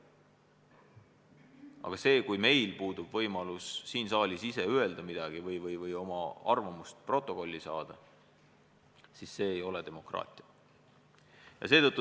Aga kui meil puudub võimalus siin saalis ise öelda midagi või oma arvamust protokolli saada, siis see ei ole demokraatia.